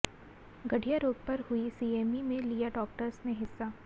गठिया रोग पर हुई सीएमई में लिया डॉक्टर्स ने हिस्सा